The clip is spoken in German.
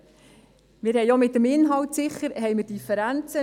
Sicher haben wir auch bezüglich des Inhalts Differenzen.